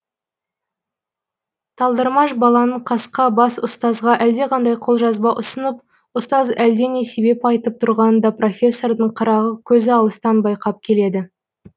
талдырмаш баланың қасқа бас ұстазға әлдеқандай қолжазба ұсынып ұстаз әлдене себеп айтып тұрғанын да профессордың қырағы көзі алыстан байқап келеді